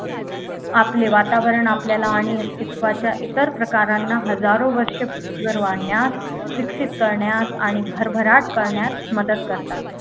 आपले वातावरण आपल्याला आणि अस्तित्वाच्या इतर प्रकारांना हजारो वर्ष पृथ्वीवर वाढण्यास विकसित करण्यास आणि भरभराट करण्यास मदत करतात